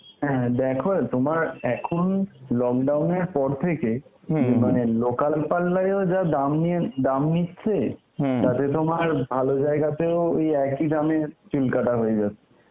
হ্যাঁ দেখো তোমার এখন lockdown এর পর থেকে মানে local parlour এও যার দাম নিয়ে~ নাম নিচ্ছে তাতে তোমার ভালো জায়গাতেও ওই একই দামে চুল কাটা হয়ে যায়.